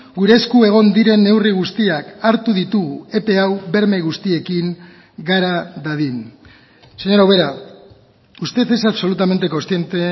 gure esku egon diren neurri guztiak hartu ditugu epe hau berme guztiekin gara dadin señora ubera usted es absolutamente consciente